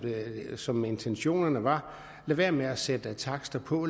som intentionerne var lad være med at sætte takster på